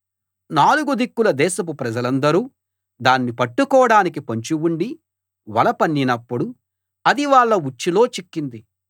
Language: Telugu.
నాలుగు దిక్కుల దేశపు ప్రజలందరూ దాన్ని పట్టుకోడానికి పొంచి ఉండి వల పన్నినప్పుడు అది వాళ్ళ ఉచ్చులో చిక్కింది